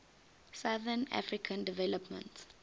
southern african development